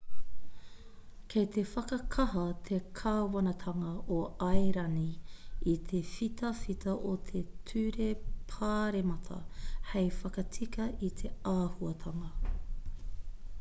kei te whakakaha te kāwanatanga o airani i te whitawhita o te ture pāremata hei whakatika i te āhuatanga